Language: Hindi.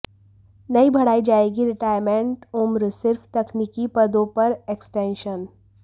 नहीं बढ़ाई जाएगी रिटायरमेंट उम्र सिर्फ तकनीकी पदों पर एक्सटेंशन